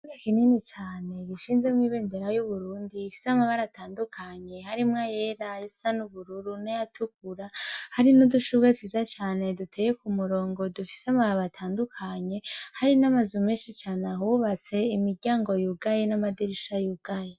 Kuga kinini cane gishinzemwo ibendera y'uburundi ifise amabara atandukanye harimwo yera esa n'ubururu nayatukura hari n'udushubwe twiza cane duteye ku murongo dufise amababo atandukanye hari n'amazu menshi cane ahubatse imiryango yugaye n'amadirisha yugaye.